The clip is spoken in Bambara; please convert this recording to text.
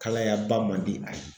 Kalayaba man di a ye.